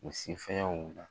U si fɛnw